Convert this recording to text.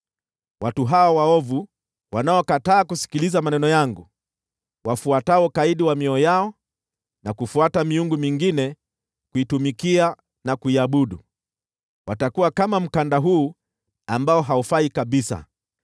Watu hawa waovu, wanaokataa kusikiliza maneno yangu, wafuatao ukaidi wa mioyo yao na kufuata miungu mingine kuitumikia na kuiabudu, watakuwa kama mkanda huu ambao haufai kabisa!